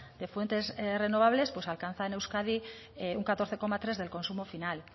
de fuentes renovables pues alcanza en euskadi un catorce coma tres del consumo final